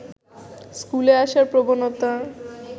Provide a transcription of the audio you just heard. স্কুলে আসার প্রবণতা